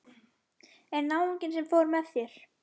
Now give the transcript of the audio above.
En náunginn sem fór með þér?